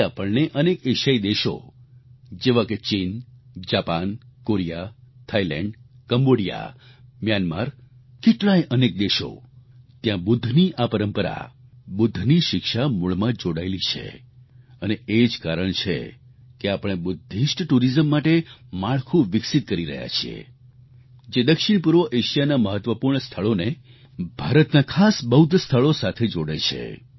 તે આપણને અનેક એશિયાઈ દેશો જેવા કે ચીન Japan Korea Thailand Cambodia Myanmar કેટલાય અનેક દેશો ત્યાં બુદ્ધની આ પરંપરા બુદ્ધની શિક્ષા મૂળમાં જ જોડાયેલી છે અને એ જ કારણ છે કે આપણે બુદ્ધિસ્ટ ટુરિઝમ માટે માળખું વિકસીત કરી રહ્યા છીએ જે દક્ષિણપૂર્વ એશિયાના મહત્વપૂર્ણ સ્થળોને ભારતના ખાસ બૌદ્ધ સ્થળો સાથે જોડે છે